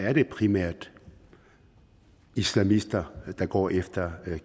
at det primært er islamister der går efter